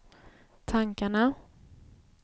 tankarna